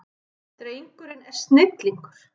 Drengurinn er snillingur.